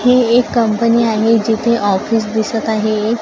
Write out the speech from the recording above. ही एक कंपनी आहे जिथे ऑफीस दिसत आहे.